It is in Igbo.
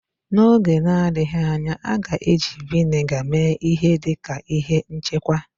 N'oge na-adịghị anya, a ga-eji Vị́nịga mee ihe dị ka ihe nchekwa